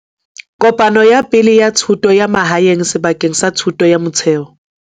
Kopano ya Pele ya Thuto ya Mahae ng sebakeng sa thuto ya motheo.